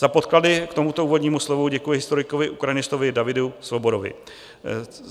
Za podklady k tomuto úvodnímu slovu děkuji historikovi ukrajinistovi Davidu Svobodovi.